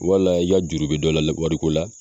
Wala i y'a juru bɛ dɔ la wariko la,